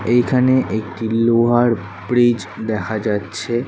এইখানে একটি লোহার ব্রিজ দেখা যাচ্ছে --